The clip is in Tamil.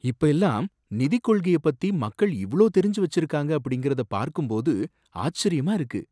இப்ப எல்லாம் நிதிக் கொள்கைய பத்தி மக்கள் இவ்ளோ தெரிஞ்சு வச்சிருக்காங்க அப்படிங்கிறத பார்க்கும்போது ஆச்சரியமா இருக்கு.